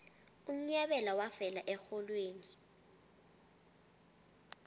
unyabela wafela erholweni